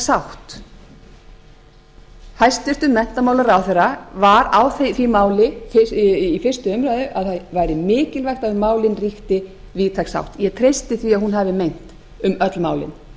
sátt hæstvirtur menntamálaráðherra var á því máli í fyrstu umræðu að það væri mikilvægt að um málin ríkti víðtæk sátt ég hesti því að hún hafi meint um öll